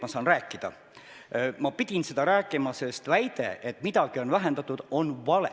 Ma pidin sellest teemast rääkima, sest väide, et midagi on vähendatud, on vale.